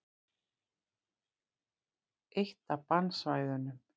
Eitt af bannsvæðunum.